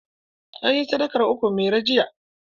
An yi sadakar ukun mairo jiya.